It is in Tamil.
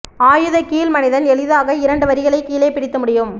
ஆயுத கீழ் மனிதன் எளிதாக இரண்டு வரிகளை கீழே பிடித்து முடியும்